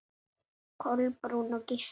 Kolbrún og Gísli.